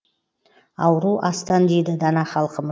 ауру астан дейді дана халқым